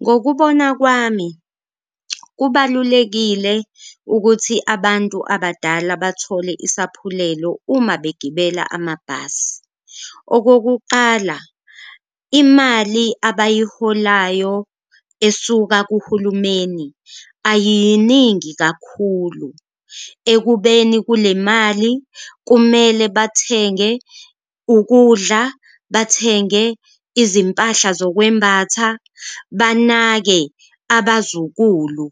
Ngokubona kwami kubalulekile ukuthi abantu abadala bathole isaphulelo uma begibela amabhasi. Okokuqala, imali abayiholayo esuka kuhulumeni ayiyiningi kakhulu, ekubeni kule mali kumele bathenge ukudla, bathenge izimpahla zokwembatha, banake abazukulu